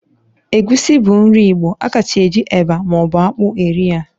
Egusi bu nri igbo, a kachasi eji eba ma obu akpụ eri ya